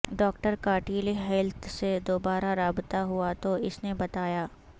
doctor کا telehealth سے دوبارہ رابطہ ہوا تو اس نے بتایا